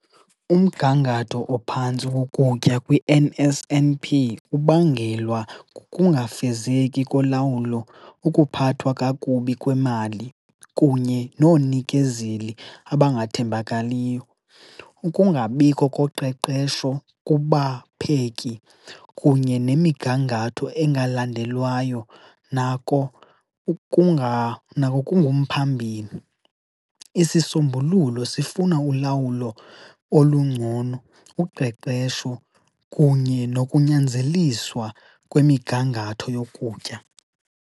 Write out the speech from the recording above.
Umgangatho ophantsi wokutya kwi-N_S_N_P kubangelwa kukungafezeki kolawulo, ukuphathwa kakubi kwemali, kunye noonikezeli abangathembakaliyo. Ukungabikho koqeqesho kubapheki kunye nemigangatho engalandelwayo nako nako kungumphambili. Isisombululo sifuna ulawulo olungcono, uqeqesho kunye nokunyanzeliswa kwemigangatho yokutya.